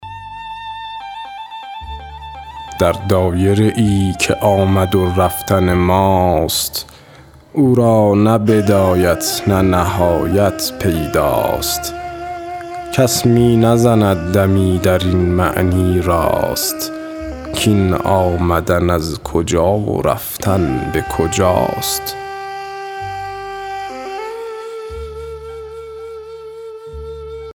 در دایره ای که آمد و رفتن ماست او را نه بدایت نه نهایت پیدا ست کس می نزند دمی در این معنی راست کاین آمدن از کجا و رفتن به کجاست